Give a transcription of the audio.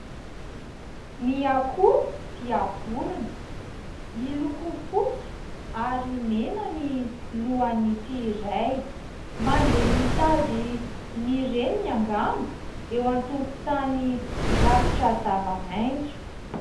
Ny akoho dia vorona. Miloko fotsy ary mena ny lohan'ity iray, mandeha mitady ny reniny angamba eo an-tokotany rakotra zava-maitso.